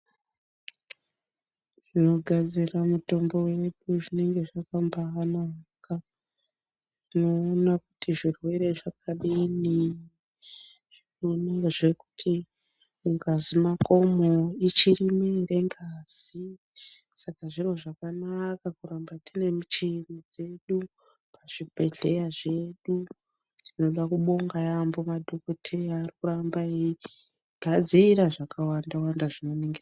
Zvinogadzira mitombo yedu zvinenge zvakambaanaka unoona kuti zvirwere zvakadini, unoonazve kuti mungazi mwakomwo ichirimwo ere ngazi saka zviro zvakanaka kuramba tine michini dzedu pazvibhedhlera zvedu tinoda kubonga yaamho madhokodheya arikuramba eigadzira zvakawanda wanda zvinoningira.